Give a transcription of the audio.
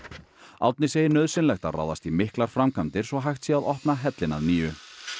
Árni segir nauðsynlegt að ráðast í miklar framkvæmdir svo hægt sé að opna hellinn að nýju